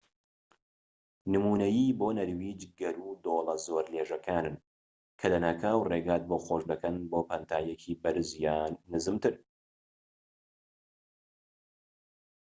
نمونەیی بۆ نەرویج گەرو و دۆڵە زۆر لێژەکانن کە لەناکاو ڕێگات بۆ خۆش دەکەن بۆ پانتاییەکی بەرز یان نزمتر